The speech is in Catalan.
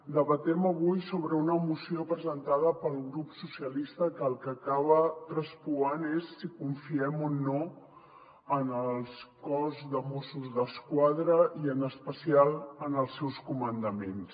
debatem avui sobre una moció presentada pel grup socialistes que el que acaba traspuant és si confiem o no en el cos de mossos d’esquadra i en especial en els seus comandaments